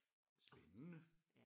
Spændende